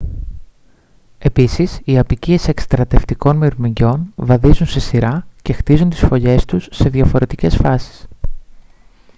επίσης οι αποικίες εκστρατευτικών μυρμηγκιών βαδίζουν σε σειρά και χτίζουν τις φωλιές τους σε διαφορετικές φάσεις